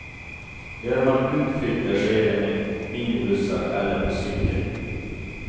Gör man utflykter sker det med minibussar eller på cykel.